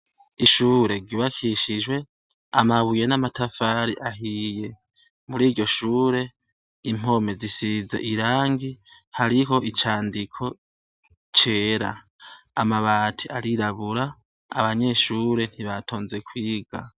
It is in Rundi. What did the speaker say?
Ishure ry'ubakishijwe amabuye namatafari ahiye , muri ryo Shure impome zisize irangi hariho icandiko cyera amabati arirabura, abanyeshure ntibatonze kwiga.